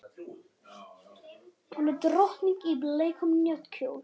Hún er drottning í bleikum náttkjól.